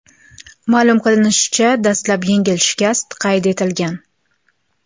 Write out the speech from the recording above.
Ma’lum qilinishicha, dastlab yengil shikast qayd etilgan.